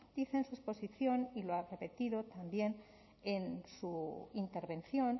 dice en su exposición y lo ha repetido también en su intervención